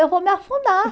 Eu vou me afundar.